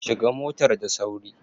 Shiga motar da sauri!